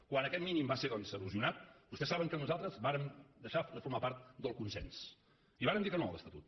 quan aquest mínim va ser doncs erosionat vostès saben que nosaltres vàrem deixar de formar part del consens i vàrem dir que no a l’estatut